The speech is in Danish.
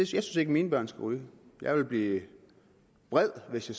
synes ikke at mine børn skal ryge jeg ville blive vred hvis de